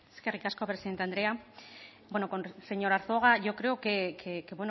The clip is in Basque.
eskerrik asko presidente andrea señor arzuaga yo creo que